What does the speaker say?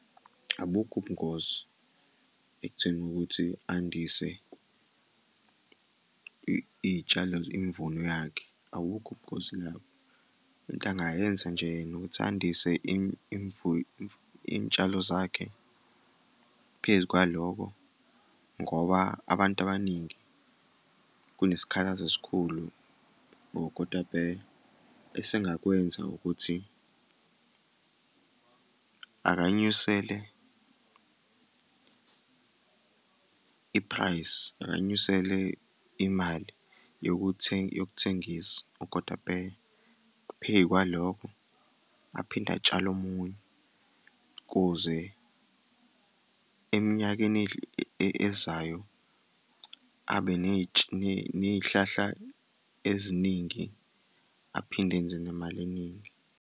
Abukho ubungozi ekutheni ukuthi andise iy'tshalo, imvuno yakhe, abukho ubungozi lapho. Into angayenza nje yena ukuthi andise iy'tshalo zakhe. Phezu kwaloko ngoba abantu abaningi kunesikhalazo esikhulu or kodwa esengakwenza ukuthi akanyusele i-price, akanyusele imali yokuthengisa ukotapeya. Phezu kwalokho aphinde atshale omunye, ukuze eminyakeni ezayo abe ney'hlahla eziningi aphinde enze nemali eningi.